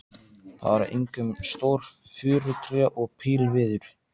Það eru einkum stór furutré og pílviður.